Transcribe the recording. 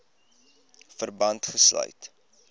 verband gesluit